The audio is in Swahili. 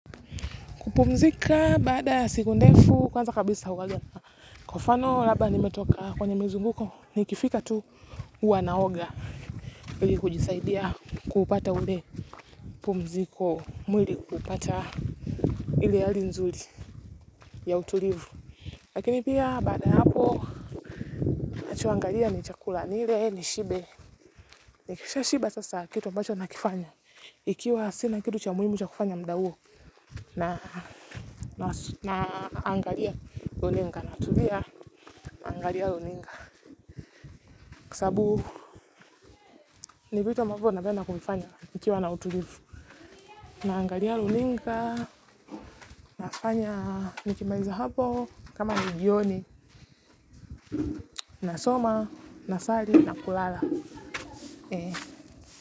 Kupumzika baada siku ndefu kwanza kabisa kwa mfano labda nimetoka kwenye mizunguko ni kifika tu huwanaoga ili kujisaidia kupata ule pumziko mwili kupata ili yali nzuli ya utulivu. Lakini pia baada hapo nachoangalia ni chakula nile ni shibe. Nikisha shiba sasa kitu ambacho nakifanya ikiwa sina kitu cha muhimu cha kufanya mda huo na angalia runingana. Natulia naangalia luninga kisabu ni vitu ambavyo napenda kuvifanya nikiwa na utulivu. Naangalia luninga, nafanya nikimaliza hapo kama nijioni, nasoma, nasali, na kulala.